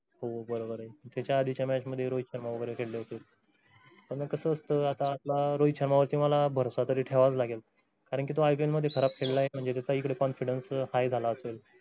हो बरोबर आहे. त्याच्या आधीच्या match मध्ये रोहित शर्मा वगैरे खेळले होते . कस असतं आता आपला रोहित शर्मा वर तुम्हाला भरोसा तरी ठेवावाच लागेल. कारण कि तो ipl मध्ये खराब खेळलाय म्हणजे त्याचा इकडे confidence high झाला असेल.